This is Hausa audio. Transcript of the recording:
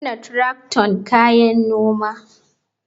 Kunna tracton kayi noma.